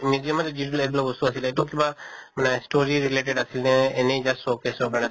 museum ত যি এইবিলাক বস্তু আছিলে এইটো কিবা মানে story related আছিল নে এনে just showcase ৰ কাৰণে